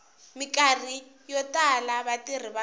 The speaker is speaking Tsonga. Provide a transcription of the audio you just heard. mikarhi yo tala vatirhi va